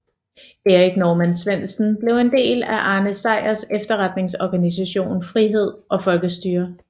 Erik Norman Svendsen blev en del af Arne Sejrs efterretningsorganisation Frihed og Folkestyre